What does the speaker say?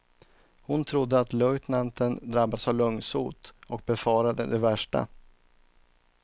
Hon trodde att löjtnanten drabbats av lungsot och befarade det värsta.